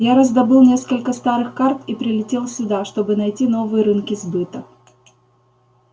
я раздобыл несколько старых карт и прилетел сюда чтобы найти новые рынки сбыта